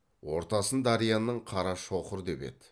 ортасын дарияның қарға шоқыр деп еді